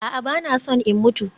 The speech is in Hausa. A'a, ba na son in mutu